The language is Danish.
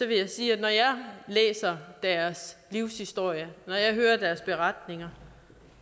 vil jeg sige at når jeg læser deres livshistorie når jeg hører deres beretninger